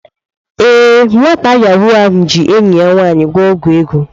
Ee, nwata Yahoo ahụ ji enyi ya nwanyi gwo ogwu ego.